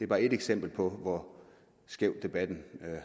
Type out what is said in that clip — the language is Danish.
bare et eksempel på hvor skæv debatten